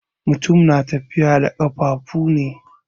Mutum na tafi da ƙafuwa ne.